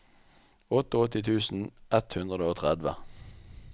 åttiåtte tusen ett hundre og tretti